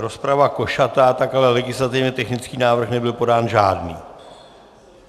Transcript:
rozprava košatá, tak ale legislativně technický návrh nebyl podán žádný.